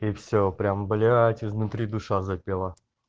и всё прям блять изнутри душа запела